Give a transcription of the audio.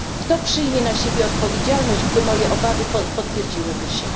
Kto przyjmie na siebie odpowiedzialność, gdyby moje obawy potwierdziły się?